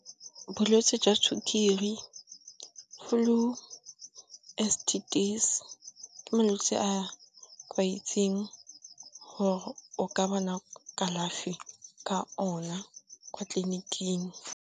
Bolwetse jwa tshukiri, Flu, S_T_Ds. Ke malwetse a kwa itsing gore o ka bona kalafi ka ona kwa tleliniking.